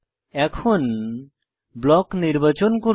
এখন ব্লক নির্বাচন করুন